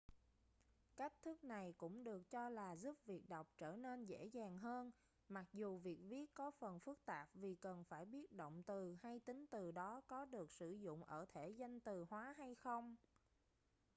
cách thức này cũng được cho là giúp việc đọc trở nên dễ dàng hơn mặc dù việc viết có phần phức tạp vì cần phải biết động từ hay tính từ đó có được sử dụng ở thể danh từ hóa hay không